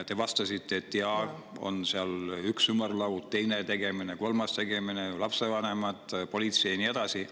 Te vastasite, et jaa, on üks ümarlaud, teine tegemine, kolmas tegemine, lapsevanemad, politsei ja nii edasi.